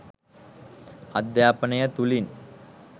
අධ්‍යාපනය තුළින්